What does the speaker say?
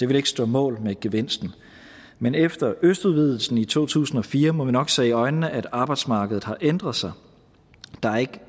ville stå mål med gevinsten men efter østudvidelsen i to tusind og fire må vi nok se i øjnene at arbejdsmarkedet har ændret sig der er ikke